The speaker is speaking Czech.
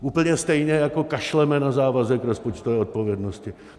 Úplně stejně jako kašleme na závazek rozpočtové odpovědnosti.